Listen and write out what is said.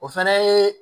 O fɛnɛ ye